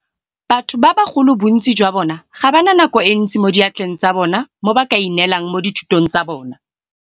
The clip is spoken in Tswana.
Batho ba bagolo bontsi jwa bona ga ba na nako e ntsi mo diatleng tsa bona mo ba kaineelang mo dithutong tsa bona.